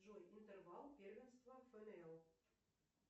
джой интервал первенства фнл